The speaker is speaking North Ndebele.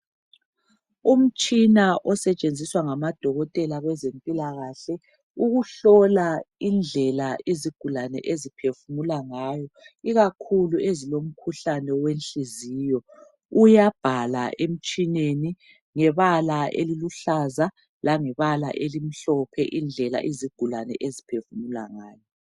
Umtshina asetshenjiswa ngabodokotela labezempilakahle ukuhlola indlela izigulane eziphefumula ngayo ikakhulu ezilomkhuhlane wenhliziyo uyabhala emtshineni ngebala eliluhlaza lebala elimhlophe elitshengisa izigulane indlela abaphefumula ngayo.